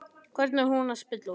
Hvernig er hún að spila úti?